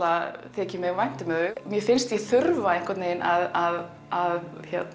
þykir mér vænt um þau mér finnst ég þurfa að að